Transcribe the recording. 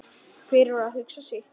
Hver var að hugsa sitt.